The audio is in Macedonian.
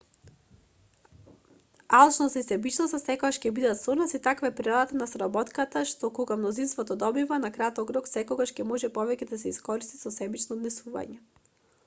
алчноста и себичноста секогаш ќе бидат со нас и таква е природата на соработката што кога мнозинството добива на краток рок секогаш ќе може повеќе да се искористи со себично однесување